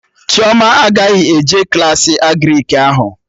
Chioma agaghị eje Klassị Agrịk ahụ